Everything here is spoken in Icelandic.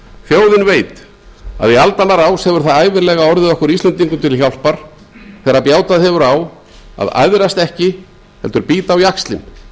þjóðin veit að í aldanna rás hefur það ævinlega orðið okkur íslendingum til hjálpar þegar bjátað hefur á að æðrast ekki heldur bíta á jaxlinn